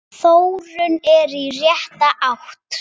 Þróunin er í rétta átt.